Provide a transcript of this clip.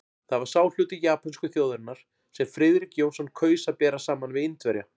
Það var sá hluti japönsku þjóðarinnar, sem Friðrik Jónsson kaus að bera saman við Indverja.